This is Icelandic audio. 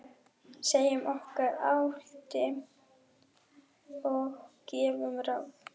Segjum okkar álit og gefum ráð.